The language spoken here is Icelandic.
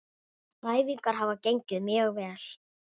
Æfingar hafa gengið mjög vel.